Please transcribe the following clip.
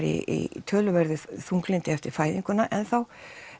í töluverðu þunglyndi eftir fæðinguna enn þá